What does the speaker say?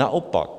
Naopak.